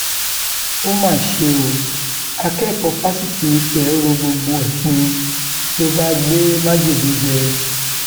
ó mà ṣe o akẹkọọ fásitì ìfẹ ro gbogbo ẹ pin ló bá gbé májèlé jẹ